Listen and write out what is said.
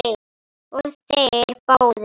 Og þeir báðir.